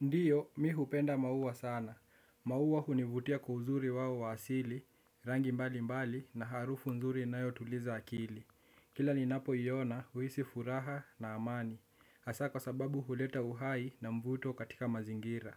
Ndiyo, mi hupenda maua sana. Maua hunivutia kwa uzuri wao wa asili, rangi mbali mbali na harufu nzuri inayo tuliza akili. Kila ninapo iona, huhisi furaha na amani. Haswaa kwa sababu huleta uhai na mvuto katika mazingira.